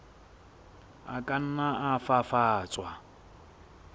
a ka nna a fafatswa